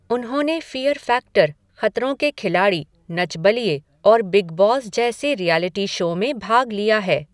उन्होंने fear factor, Khatron Ke Khiladi, Nach Baliye और big boss जैसे रिऐलिटी शो में भाग लिया है।